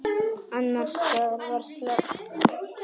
Annars staðar var slökkt.